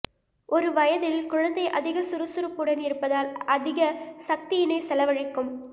ஒரு வயதில் குழந்தை அதிக சுறுசுறுப்புடன் இருப்பதால் அதிக சக்தியினை செலவழிக்கும்